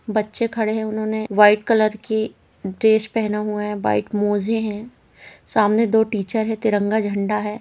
बच्चे खड़े हैं उन्होंने वाइट कलर की ड्रेस पहना हुआ है। वाइट मोज़े हैं। सामने दो टीचर हैं। तिरंगा झंडा है।